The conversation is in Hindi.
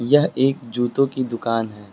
यह एक जूतों कि दुकान है।